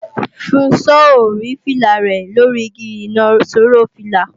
Funso ò rí fìlà rẹ̀ lóri igi ìnaṣọró fìlà